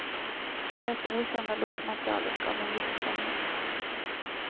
Det rätt okända låtmaterialet gav en viss spänning.